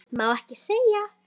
Má ekki segja.